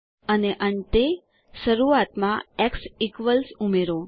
અને અંતે શરૂઆતમાં એક્સ ઇક્વલ્સ ઉમેરો